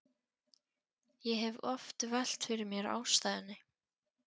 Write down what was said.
Ég hef oft velt fyrir mér ástæðunni.